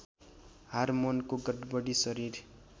हारमोनको गडबडी शरीर